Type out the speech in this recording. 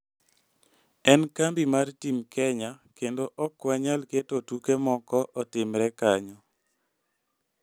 En kambi mar Team Kenya kendo ok wanyal keto tuke moko otimre kanyo.